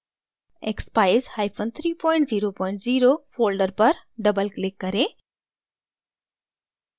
expeyes300 folder पर double click करें